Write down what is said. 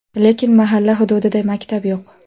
Lekin mahalla hududida maktab yo‘q.